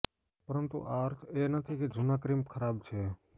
પરંતુ આ અર્થ એ નથી કે જૂના ક્રિમ ખરાબ છે